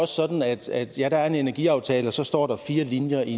sådan at ja der er en energiaftale og så står der fire linjer i